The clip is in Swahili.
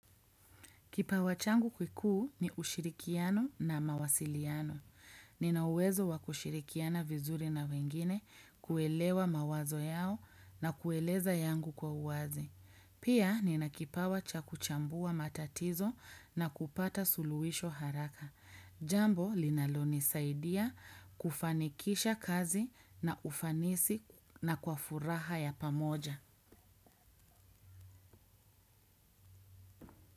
Kipawa changu kikuu ni ushirikiano na mawasiliano. Nina uwezo wa kushirikiana vizuri na wengine kuelewa mawazo yao na kueleza yangu kwa uwazi. Pia nina kipawa cha kuchambua matatizo na kupata suluhisho haraka. Jambo linalonisaidia kufanikisha kazi na ufanisi na kwa furaha ya pamoja.